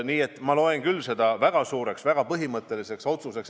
Nii et ma pean seda väga suureks ja väga põhimõtteliseks otsuseks.